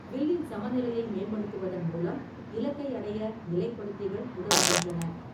வில்லின் சமநிலையை மேம்படுத்துவதன் மூலம் இலக்கை அடைய நிலைப்படுத்திகள் உதவுகின்றன.